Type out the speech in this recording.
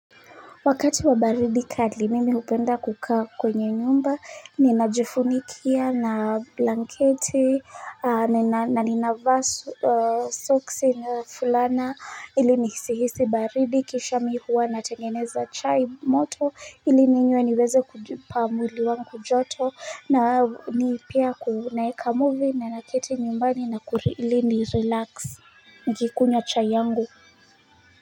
Wakati wa baridi kali mimi hupenda kukaa kwenye nyumba ninajifunikia na blanketi na ninavaa soksi na fulana ili nisihisi baridi kisha mi huwa natengeneza chai moto ili ninywe niweze kujipa mwili wangu joto na pia naeka muvi na naketi nyumbani na ili nirelax nikunywa chai yangu.